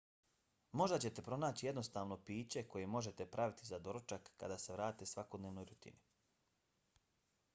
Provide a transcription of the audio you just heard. možda ćete pronaći jednostavno piće koje možete praviti za doručak kad se vratite svakodnevnoj rutini